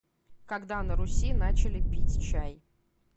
когда на руси начали пить чай